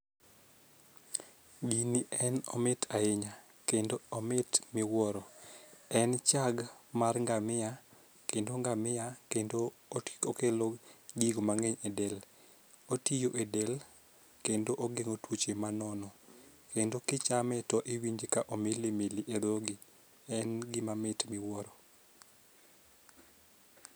Gini en omit ahinya kendo omit miwuoro. En chag mar ngamia kendo ngamia kendo oti okelo gigo mang'eny e del. Otiyo e del kendo ogeng'o tuoche manono kendo kichame tiwinje ka omili mili e dhogi . En gima mit miwuoro.